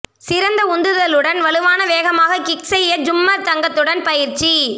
சிறந்த உந்துதலுடன் வலுவான வேகமாக கிக் செய்ய ஜூம்மர் தங்கத்துடன் பயிற்சி